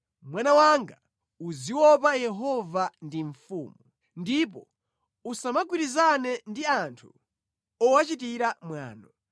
Mwana wanga, uziopa Yehova ndi mfumu, ndipo usamagwirizana ndi anthu owachitira mwano,